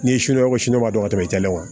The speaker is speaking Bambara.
N'i ye sini ko sunɔgɔ tɛmɛ